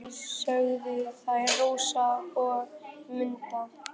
Nei, sögðu þær Rósa og Munda.